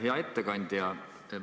Hea ettekandja!